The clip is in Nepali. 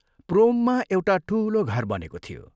प्रोममा एउटा ठूलो घर बनेको थियो।